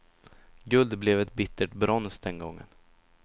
Guld blev ett bittert brons den gången.